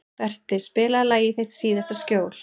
Berti, spilaðu lagið „Þitt síðasta skjól“.